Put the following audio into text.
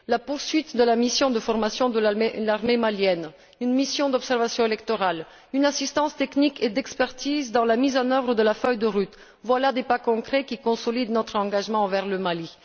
La poursuite de la mission de formation de l'armée malienne, une mission d'observation électorale, une assistance technique et d'expertise dans la mise en œuvre de la feuille de route constituent autant de pas concrets qui consolident notre engagement envers le Mali.